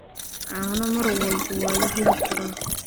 Caano mar walba waa la heli karaa.